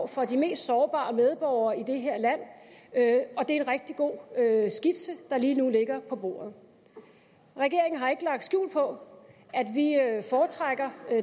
for de mest sårbare medborgere i det her land og det er en rigtig god skitse der lige nu ligger på bordet regeringen har ikke lagt skjul på at vi foretrækker